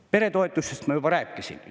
Peretoetustest ma juba rääkisin.